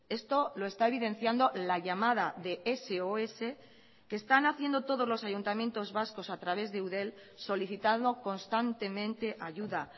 esto lo está evidenciando la llamada de sos que están haciendo todos los ayuntamientos vascos a través de eudel solicitando constantemente ayuda